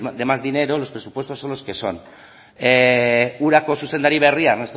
de más dinero los presupuestos son los que son urako zuzendari berria ernesto